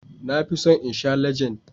Na fi son in sha Legend.